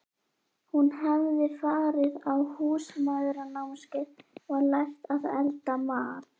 Hún hafði farið á Húsmæðranámskeið og lært að elda mat.